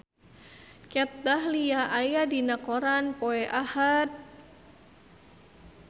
Kat Dahlia aya dina koran poe Ahad